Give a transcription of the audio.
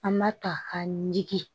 An b'a ta ka digi